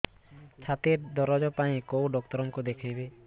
ଛାତି ଦରଜ ପାଇଁ କୋଉ ଡକ୍ଟର କୁ ଦେଖେଇବି